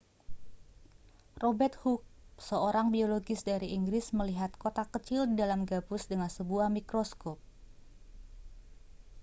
robert hooke seorang biologis dari inggris melihat kotak kecil di dalam gabus dengan sebuah mikroskop